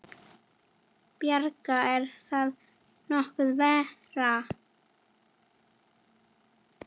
Brynja: Er það nokkuð verra?